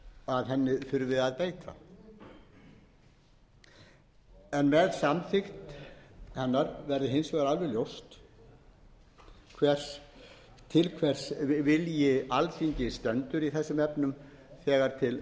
að henni þurfi að beita en með samþykkt verður hins vegar alveg ljóst til hvers vilji alþingis stendur í þessum efnum þegar til